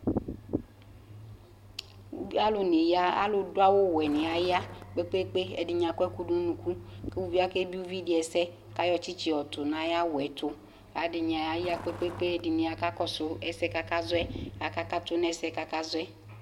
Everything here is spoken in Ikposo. Ubi alʋnɩ yaɣa alʋdʋ awʋwɛnɩ aya kpe-kpe-kpe, ɛdɩnɩ akɔ ɛkʋ dʋ nʋ unuku kʋ uvi akebie uvi dɩ ɛsɛ kʋ ayɔ tsɩtsɩ yɔtʋ nʋ ayʋ awʋ yɛ tʋ kʋ adɩnɩ aya kpe-kpe-kpe Ɛdɩnɩ aya kʋ akakɔsʋ ɛsɛ yɛ kʋ akazɔ yɛ kʋ akakatʋ nʋ ɛsɛ yɛ kʋ akazɔ yɛ